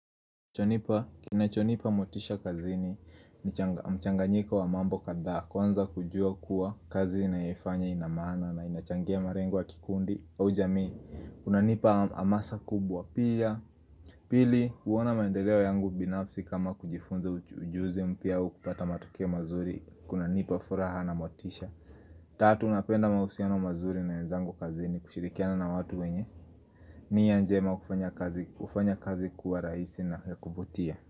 Chonipa, kinachonipa motisha kazini ni mchanganyiko wa mambo kadhaa. Kwanza kujua kuwa, kazi ninayoifanya ina maana na inachangia malengo wa kikundi au jamii. Kunanipa hamasa kubwa pia. Pili, huona maendeleo yangu binafsi kama kujifunza ujuzi mpya au kupata matokeo mazuri. Kunanipa furaha na motisha. Tatu, napenda mahusiano mazuri na wenzangu kazini kushirikiana na watu wenye nia njema hufanya kazi kuwa rahisi na ya kuvutia.